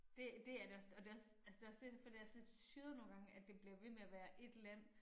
Det det er det også og det også altså det også lidt derfor det er sådan lidt syret nogle gange at det bliver ved med at være 1 land